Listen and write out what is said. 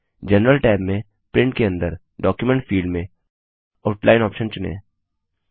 general tab में print के अंदर डॉक्यूमेंट फिल्ड में आउटलाइन ऑप्शन चुनें